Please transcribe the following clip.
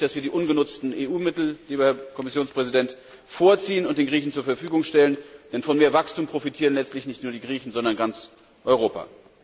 Es ist richtig, dass wir die ungenutzten EU Mittel, lieber Herr Kommissionspräsident, vorziehen und den Griechen, zur Verfügung stellen, denn von mehr Wachstum profitieren letztlich nicht nur die Griechen sondern ganz Europa.